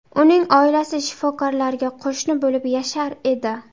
Uning oilasi shifokorlarga qo‘shni bo‘lib yashar edi.